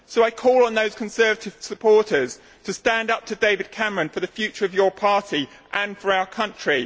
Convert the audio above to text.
So I call on those Conservative supporters to stand up to David Cameron for the future of your party and for our country.